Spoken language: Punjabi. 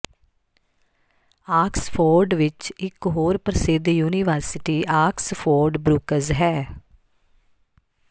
ਆਕਸਫੋਰਡ ਵਿਚ ਇਕ ਹੋਰ ਪ੍ਰਸਿੱਧ ਯੂਨੀਵਰਸਿਟੀ ਆਕਸਫੋਰਡ ਬਰੁੱਕਜ਼ ਹੈ